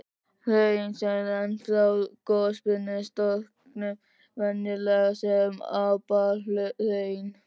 Hraun sem renna frá gossprungum storkna venjulega sem apalhraun.